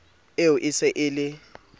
eo e se e le